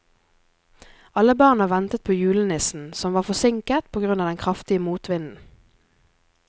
Alle barna ventet på julenissen, som var forsinket på grunn av den kraftige motvinden.